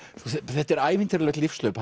þetta er ævintýralegt lífshlaup